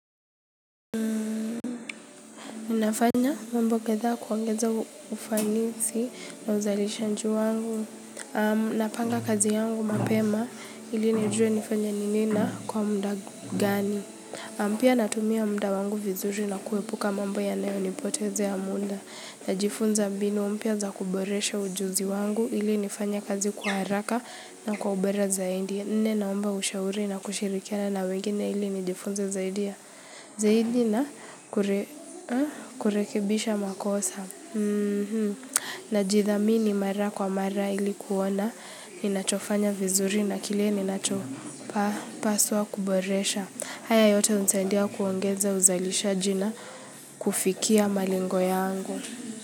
Ninafanya mambo kadhaa kuongeza ufanisi na uzalishanju wangu. Napanga kazi yangu mapema ili nijue nifanye nini na kwa mda gani. Pia natumia mda wangu vizuri na kuepuka mambo yanayo nipotezea mda. Najifunza mbinu mpya za kuboresha ujuzi wangu ili nifanye kazi kwa haraka na kwa ubora zaindi. Nne naomba ushauri na kushirikiana na wengine ili nijifunze zaidi ya. Zaidi na kurekebisha makosa. Najithamini mara kwa mara ili kuona ninachofanya vizuri na kile ninacho paswa kuboresha. Haya yote hunisaindia kuongeza uzalishaji na kufikia malengo yangu.